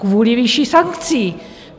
Kvůli výši sankcí.